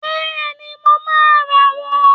Bẹ́ẹ̀ni, mo máa rà wón